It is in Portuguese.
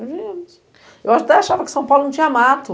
A gente... Eu até achava que São Paulo não tinha mato.